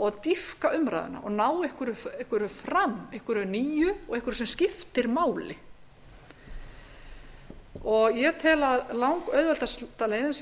og dýpka umræðuna og ná einhverju fram einhverju nýju og einhverju sem skiptir máli ég tel að langauðveldasta leiðin til að breyta